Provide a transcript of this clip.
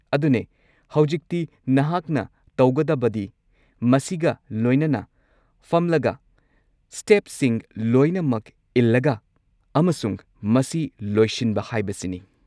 ꯑꯗꯨꯅꯦ! ꯍꯧꯖꯤꯛꯇꯤ ꯅꯍꯥꯛꯅ ꯇꯧꯒꯗꯕꯗꯤ ꯃꯁꯤꯒ ꯂꯣꯏꯅꯅ ꯐꯝꯂꯒ ꯁ꯭ꯇꯦꯞꯁꯤꯡ ꯂꯣꯏꯅꯃꯛ ꯏꯜꯂꯒ ꯑꯃꯁꯨꯡ ꯃꯁꯤ ꯂꯣꯏꯁꯤꯟꯕ ꯍꯥꯏꯕꯁꯤꯅꯤ꯫